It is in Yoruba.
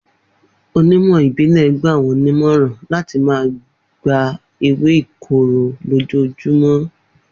Onímọ̀ ìbílẹ̀ gbà wọ́n nímọ̀ràn láti máa gba ewé ìkorò lójoojúmọ́.